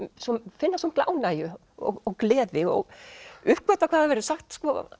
finna svo mikla ánægju og gleði og uppgötva hvað hefur verið sagt